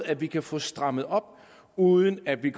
at vi kan få strammet op uden at vi